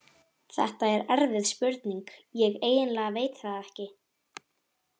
Þetta er erfið spurning, ég eiginlega veit það ekki.